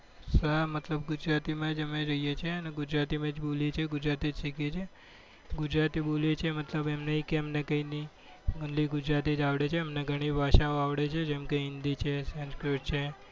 હા મતલબ ગુજરાતી માં જ અમે રહીએ છીએ ગુજરાતી જ બોલીએ ચી ગુજરાતી જ સીખીયે છીએ ગુજરાતી બોલીએ છીએ મતલબ એમ નહી કે અમને કઈ નહિ only ગુજરાતી જ અવળે છે અમને ગણી ભાષાઓ આવડે છે જેમ કે હિન્દી છે સંસ્કૃત છે